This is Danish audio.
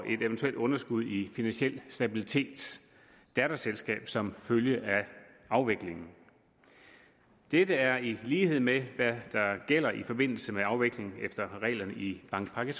eventuelt underskud i finansiel stabilitets datterselskab som følge af afviklingen dette er i lighed med hvad der gælder i forbindelse med afviklingen efter reglerne i bankpakke